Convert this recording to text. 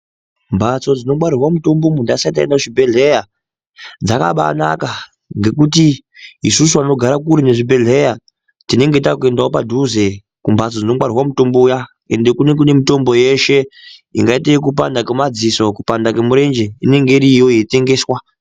Mhatso dzinongwarirwa mitombo muntu asati aenda kuzvibhedhlera dzakabaanaka ngekuti isusu vanogara kure nezvibhedhlera tinenge taakuendawo padhuze kumhatso dzinongarirwa mutombo uya ende kunenge kune mitombo yeshe ingaite yekupanda kwemadziso, kupanda kwemurenje, inonga iriyo yeitengeswa.